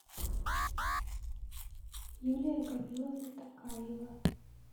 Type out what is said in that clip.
юлия камиловна токаева